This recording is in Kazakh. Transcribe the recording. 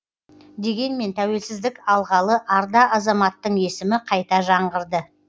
дегенмен тәуелсіздік алғалы арда азаматтың есімі қайта жаңғырды